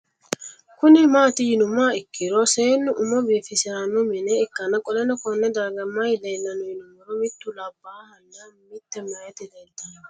Kuni mati yinumoha ikiro seenu umo bifisirano mine ikan qoleno Kone darga mayi leelanno yinumaro mitu labahana mite mayita leeltano